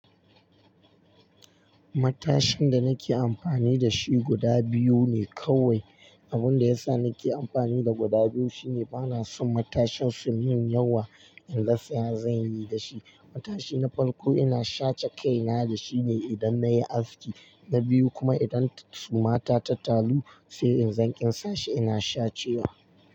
Matashin da nake amfani da shi guda biyu ne kawai. Abun da yasa nake amfani da guda biyu shine bana son matashin su min yawa. In rasa ya zanyi dashi. Matashi na farko ina sha ce kaina da shi ne idan nayi aski. Na biyu kuma idan suma ta ta talu sai in zan ƙin sa shi ina sha cewa.